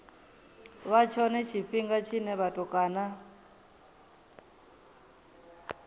vha tshone tshifhinga tshine vhatukana